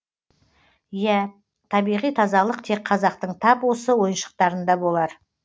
иә табиғи тазалық тек қазақтың тап осы ойыншықтарында болар